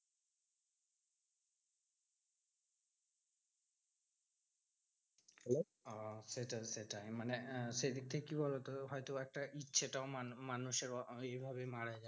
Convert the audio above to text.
Hello আহ সেটাই সেটাই মানে সেদিক থেকে কি বলতো? হয়তো একটা ইচ্ছেটাও মানু~ মানুষের এইভাবে মারা যায়,